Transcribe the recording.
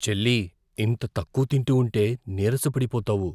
చెల్లీ, ఇంత తక్కువ తింటూ ఉంటే, నీరసపడిపోతావు.